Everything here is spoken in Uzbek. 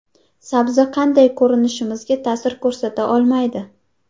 Sabzi qanday ko‘rishimizga ta’sir ko‘rsata olmaydi.